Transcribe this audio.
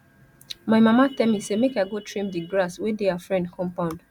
my mama tell me say make i go trim de grass wey dey her friend compound